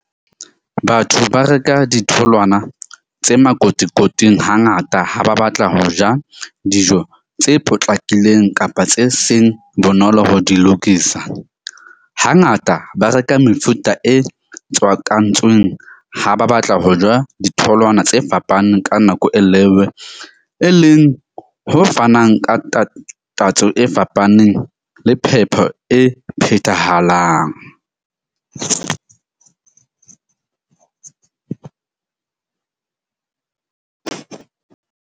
Batho ba reka ditholwana tse makotikoting hangata ha ba batla ho ja dijo tse potlakileng kapa tse seng bonolo ho di lokisa. Hangata ba reka mefuta e tswakantsweng ha ba batla ho ja ditholwana tse fapaneng ka nako e e leng ho fanang ka tatso e fapaneng le phepo e phethahalang .